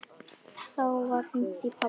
Þá var hringt í pabba.